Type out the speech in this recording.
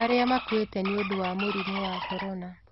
Arĩa makuĩte nĩ ũndũ wa mũrimũ wa corona